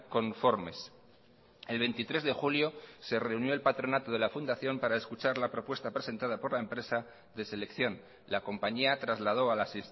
conformes el veintitrés de julio se reunió el patronato de la fundación para escuchar la propuesta presentada por la empresa de selección la compañía trasladó a las